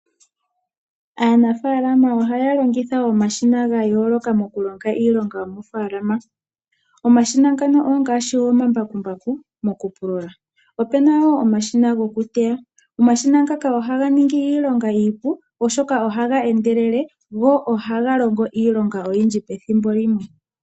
Aanafaalama ohaya longitha omashina ga yooloka moku longa iilonga yomofaalama. Omashina ngano ongaashi omambakumbaku moku pulula , opu na wo omashina gokuteya. Omashina ngaka ohaga ningi iilonga iipu oshoka ohaga endelele go ohaga longo iilonga oyindji pethimbo limwe.